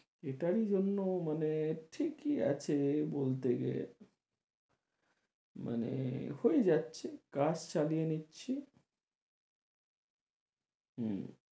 এটার জন্য মানে ঠিকই আছে বলতে গেলে মানে হয়ে যাচ্ছে কাজ চালিয়ে নিচ্ছি উম